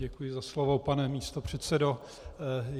Děkuji za slovo, pane místopředsedo.